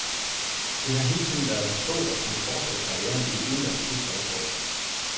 Det har hele tiden været hans håb at kunne fortsætte karrieren i en udenlandsk klub fra efteråret.